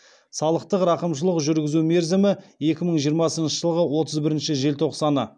салықтық рақымшылық жүргізу мерзімі екі мың жиырмасыншы жылғы отыз бірінші желтоқсаны